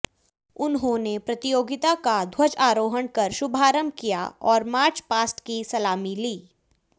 उन्होंने प्रतियोगिता का ध्वजारोहण कर शुभारंभ किया और मार्च पार्स्ट की सलामी ली